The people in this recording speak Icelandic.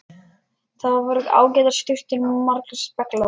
Þar voru ágætar sturtur og margir speglar!